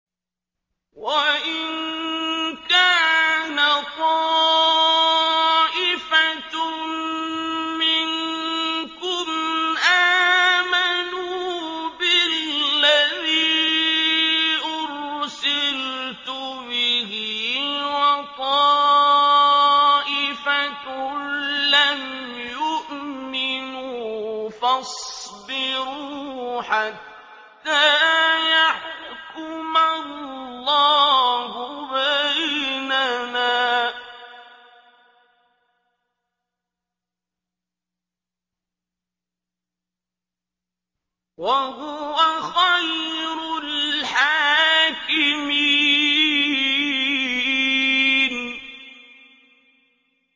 وَإِن كَانَ طَائِفَةٌ مِّنكُمْ آمَنُوا بِالَّذِي أُرْسِلْتُ بِهِ وَطَائِفَةٌ لَّمْ يُؤْمِنُوا فَاصْبِرُوا حَتَّىٰ يَحْكُمَ اللَّهُ بَيْنَنَا ۚ وَهُوَ خَيْرُ الْحَاكِمِينَ